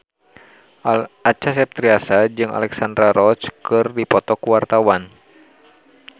Acha Septriasa jeung Alexandra Roach keur dipoto ku wartawan